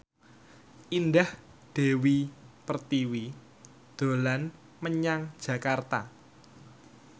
Indah Dewi Pertiwi dolan menyang Jakarta